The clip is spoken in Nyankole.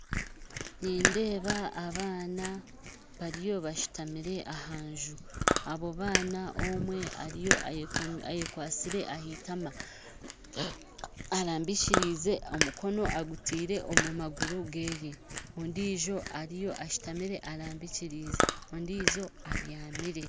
Nindeeba abaana bariyo bashuutamire aha nju abo baana omwe ayekwatsire aha itama arambikirize omukono agutaire omu maguru gye ondijo ariyo ashuutamire arambikirize ondijo abyamire